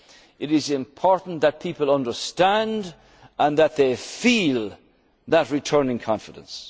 Union itself. It is important that people understand and that they feel that returning